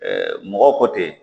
mɔgɔ kɔ tɛ